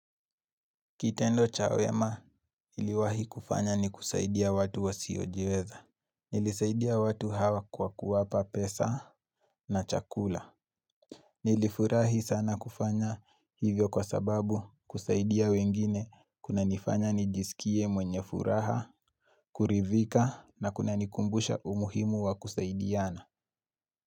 Kitendo cha wema iliwahi kufanya ni kusaidia watu wa siyojiweza. Nilisaidia watu hawa kwa kuwapa pesa na chakula. Nilifurahi sana kufanya hivyo kwa sababu kusaidia wengine kuna nifanya nijisikie mwenye furaha, kurivika na kunanikumbusha umuhimu wa kusaidiana.